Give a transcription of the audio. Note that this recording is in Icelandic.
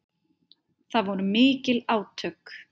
Það voru mikil átök.